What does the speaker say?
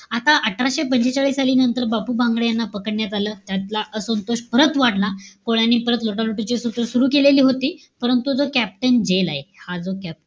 आता अठराशे पंचेचाळीस साली नंतर, बापू भांगडिया याना पकडण्यात आलं. त्यातला असंतोष परत वाढला. कोळ्यांनी परत लुटालुटीची सूर सुरु केली होती. परंतु जो captain झेल आहे,